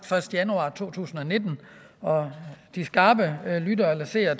første januar to tusind og nitten og de skarpe lyttere eller seere